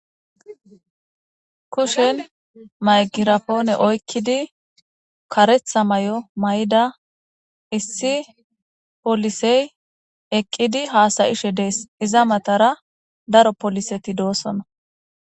Kushen maygirapoone oykkidi karetha may'o may'ida issi polisey eqqidi haasayishe dees iza matara daro poliseti doosona